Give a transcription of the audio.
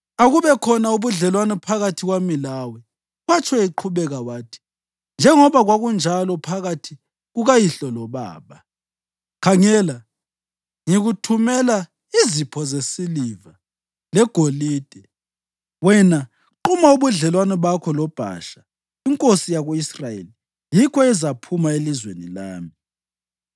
“Akubekhona ubudlelwano phakathi kwami lawe,” watsho, eqhubeka wathi, “njengoba kwakunjalo phakathi kukayihlo lobaba. Khangela ngikuthumela izipho zesiliva legolide. Wena quma ubudlelwano bakho loBhasha inkosi yako-Israyeli yikho ezaphuma elizweni lami.”